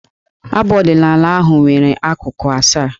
Abụ ọdịnaala ahụ nwere akụkụ asaa.